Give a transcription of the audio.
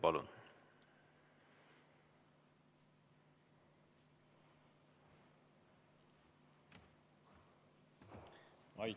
Palun!